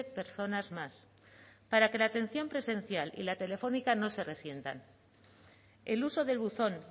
personas más para que la atención presencial y la telefónica no se resientan el uso del buzón